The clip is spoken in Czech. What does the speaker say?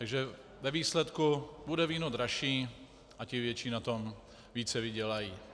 Takže ve výsledku bude víno dražší a ti větší na tom více vydělají.